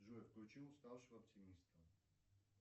джой включи уставшего оптимиста